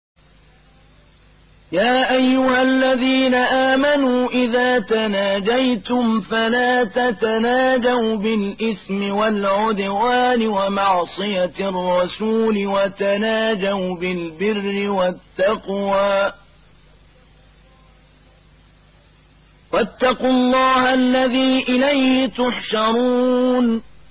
يَا أَيُّهَا الَّذِينَ آمَنُوا إِذَا تَنَاجَيْتُمْ فَلَا تَتَنَاجَوْا بِالْإِثْمِ وَالْعُدْوَانِ وَمَعْصِيَتِ الرَّسُولِ وَتَنَاجَوْا بِالْبِرِّ وَالتَّقْوَىٰ ۖ وَاتَّقُوا اللَّهَ الَّذِي إِلَيْهِ تُحْشَرُونَ